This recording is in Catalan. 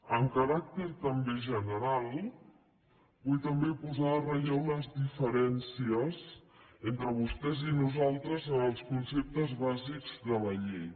amb caràcter també general vull també posar en relleu les diferències entre vostès i nosaltres en els conceptes bàsics de la llei